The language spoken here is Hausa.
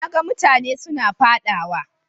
Na gan mutane su na fada a wa